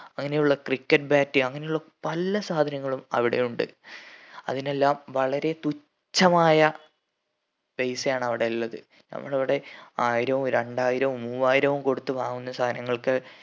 അങ്ങനെ ഉള്ള cricket bat അങ്ങനെ ഉള്ള പല സാധനങ്ങളും അവിടെ ഉണ്ട് അതിനെല്ലാം വളരെ തുച്ഛമായ പൈസ ആണ് അവിടെ ഇള്ളത് നമ്മളിവിടെ ആയിരോം രണ്ടായിരോം മൂവായിരോം കൊടുത്ത് വാങ്ങുന്ന സാനങ്ങൾക്ക്